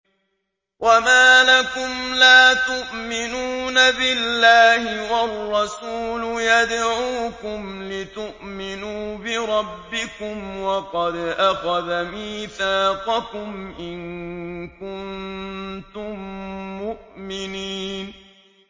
وَمَا لَكُمْ لَا تُؤْمِنُونَ بِاللَّهِ ۙ وَالرَّسُولُ يَدْعُوكُمْ لِتُؤْمِنُوا بِرَبِّكُمْ وَقَدْ أَخَذَ مِيثَاقَكُمْ إِن كُنتُم مُّؤْمِنِينَ